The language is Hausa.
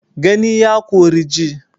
Gani ya kori ji